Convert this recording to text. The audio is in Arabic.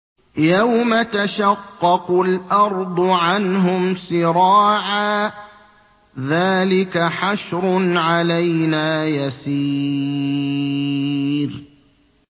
يَوْمَ تَشَقَّقُ الْأَرْضُ عَنْهُمْ سِرَاعًا ۚ ذَٰلِكَ حَشْرٌ عَلَيْنَا يَسِيرٌ